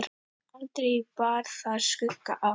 Aldrei bar þar skugga á.